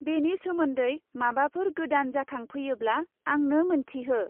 बेनि सोमोन्दै माबाफोर गोदान जाखांफैयोब्ला आंनो मोन्थिहो।